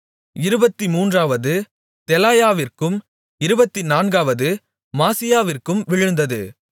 இருபத்துமூன்றாவது தெலாயாவிற்கும் இருபத்துநான்காவது மாசியாவிற்கும் விழுந்தது